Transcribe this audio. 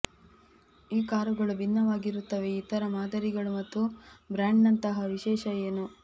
ಈ ಕಾರುಗಳು ಭಿನ್ನವಾಗಿರುತ್ತವೆ ಇತರ ಮಾದರಿಗಳು ಮತ್ತು ಬ್ರ್ಯಾಂಡ್ನಂತಹ ವಿಶೇಷ ಏನೂ